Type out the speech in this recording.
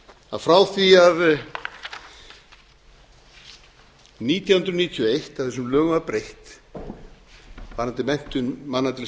að frá því nítján hundruð níutíu og eitt að þessum lögum var breytt varðandi menntun manna til